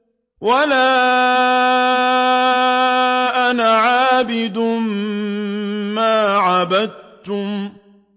وَلَا أَنَا عَابِدٌ مَّا عَبَدتُّمْ